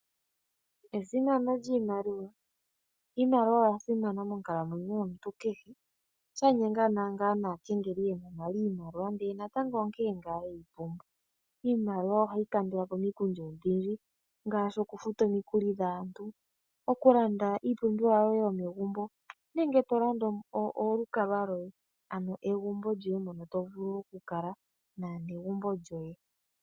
Esimano lyiimaliwa. Iimaliwa oya simana monkalamwenyo yomuntu kehe. Sha nyenga ngaa . Iimaliwa ohayi kandulapo omikundu odhindji ngaashi oku futa